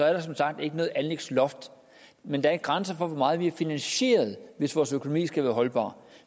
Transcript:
er der som sagt ikke noget anlægsloft men der er en grænse for hvor meget vi kan finansiere hvis vores økonomi skal være holdbar